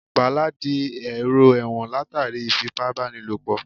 Bàlá di èrò ẹ̀wọ̀n látàrí ìfipábánilòpọ̀